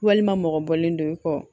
Walima mɔgɔ bɔlen don i kɔ